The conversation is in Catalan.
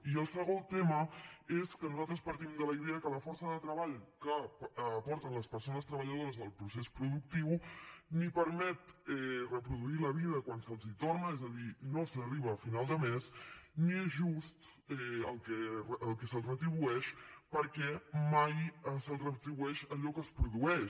i el segon tema és que nosaltres partim de la idea que la força de treball que aporten les persones treballadores al procés productiu ni permet reproduir la vida quan se’ls hi torna és a dir no s’arriba a final de mes ni és just el que se’ls retribueix perquè mai se’ls retribueix allò que es produeix